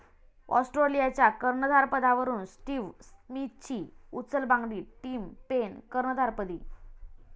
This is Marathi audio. ऑस्ट्रेलियाच्या कर्णधारपदावरून स्टीव्ह स्मिथची उचलबांगडी, टीम पेन कर्णधारपदी